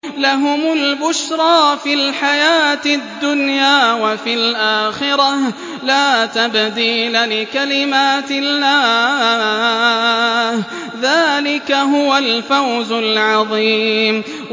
لَهُمُ الْبُشْرَىٰ فِي الْحَيَاةِ الدُّنْيَا وَفِي الْآخِرَةِ ۚ لَا تَبْدِيلَ لِكَلِمَاتِ اللَّهِ ۚ ذَٰلِكَ هُوَ الْفَوْزُ الْعَظِيمُ